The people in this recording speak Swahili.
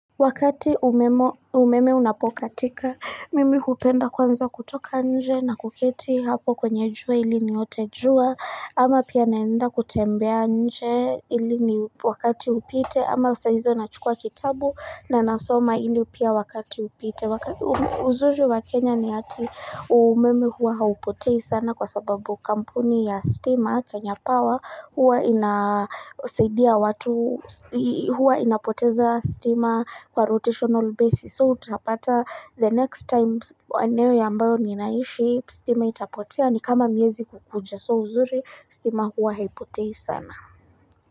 Wakati umeme unapokatika, mimi hupenda kwanza kutoka nje na kuketi hapo kwenye jua ili niote jua, ama pia naenda kutembea nje ili ni wakati upite, ama saa hizo nachukua kitabu na nasoma ili pia wakati upite. Uzuri wa Kenya ni ati umeme huwa haupotei sana kwa sababu kampuni ya stima Kenya Power huwa ina saidia watu huwa inapoteza stima kwa rotational basis so utapata the next time eneo ambayo ninaishi stima itapotea ni kama miezi kukuja so uzuri stima hua haipotei sana.